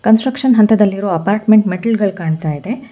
Construction ಹಂತದಲ್ಲಿರುವ apartment ಮೆಟ್ಟಿಲ್ಗಳ್ ಕಾಣ್ತಾ ಇದೆ.